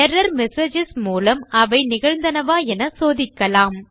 error messages மூலம் அவை நிகழ்ந்தனவா என சோதிக்கலாம்